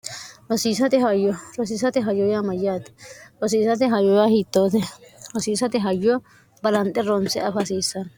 rhyrosiisate hayyoya amayyaati rosiisate hayoya hiittoote hosiisate hayyo balanxe roonse afa hasiissanno